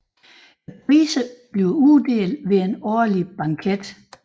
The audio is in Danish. Priserne uddeles ved en årlig banket